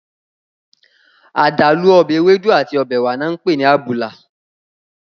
Adalu ọbẹ ewedu ati ọbẹ ẹwa ni ǹpe ni 'abula'